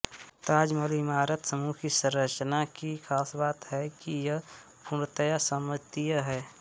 ताजमहल इमारत समूह की संरचना की खास बात है कि यह पूर्णतया सममितीय है